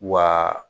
Wa